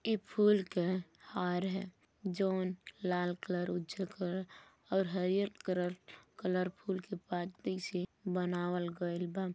इ फूल के हार है जवन लाल कलर उज्जर कर और हरियर करर कलर फुल के पाती से बनावल गइल बा।